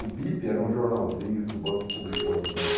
O Bip era um jornalzinho que o banco publicou nos anos